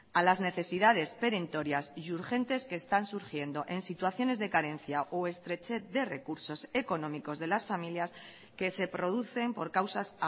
a las necesidades perentorias y urgentes que están surgiendo en situaciones de carencia o estrechez de recursos económicos de las familias que se producen por causas